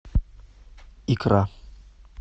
икра